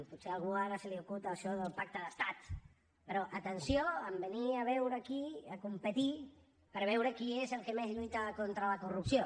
potser a algú ara se li acut això del pacte d’estat però atenció en venir a veure aquí a competir per veure qui és el que més lluita contra la corrupció